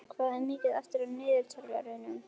Lísebet, hvað er mikið eftir af niðurteljaranum?